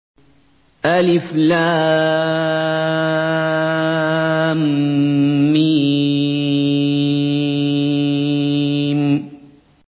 الم